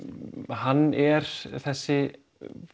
hann er þessi